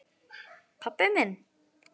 Pabbi minn?